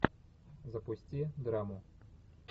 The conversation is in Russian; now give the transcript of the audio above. запусти драму